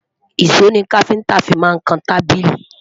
ìsọ ní kafinta fí má n kàn tábìlì